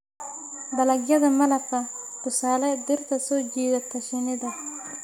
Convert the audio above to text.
Dalagyada malabka: tusaale, dhirta soo jiidata shinnida.